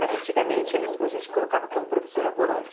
Mas antigamente eles a gente colocava como professora volante.